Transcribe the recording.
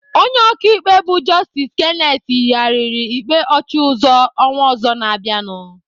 Onye ọkaikpe bụ Justice Kenneth yigharịrị ikpe Ọchịuzo ọnwa ọzọ na-abịanụ.